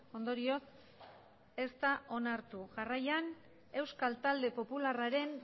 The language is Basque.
ondorioz ez da onartu jarraian euskal talde popularraren